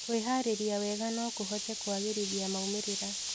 Kwĩharĩrĩria wega no kũhote kũagĩrithia maumĩrĩra.